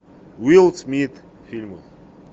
вилл смит в фильмах